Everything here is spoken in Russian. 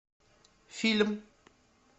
фильм